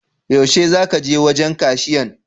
Yaushe za ka je wajen kashiyan?